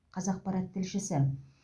қазақпарат тілшісі